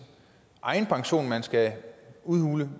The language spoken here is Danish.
egen pension man skal udhule